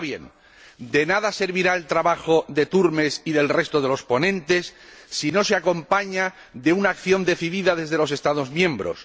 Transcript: Ahora bien, de nada servirá el trabajo del señor Turmes y del resto de los ponentes si no se acompaña de una acción decidida desde los Estados miembros.